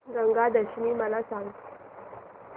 गंगा दशमी मला सांग